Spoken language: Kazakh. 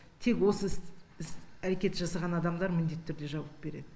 тек осы іс әрекет жасаған адамдар міндетті түрде жауап береді